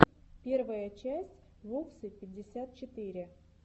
первая часть воксы пятьдесят четыре